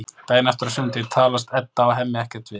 Daginn eftir, á sunnudegi, talast Edda og Hemmi ekkert við.